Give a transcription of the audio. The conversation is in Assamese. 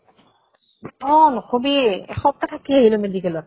অহ নকবি। এসপ্তাহ থাকি আহিলো medical ত।